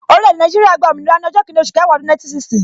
Orile-ede Naijiria gba òmìnira ni ọjọ́ kinni oṣù kẹwàá ọdún 1960